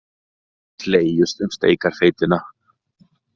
Slegist um steikarfeitina